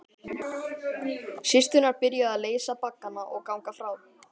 Systurnar byrjuðu að leysa baggana og ganga frá.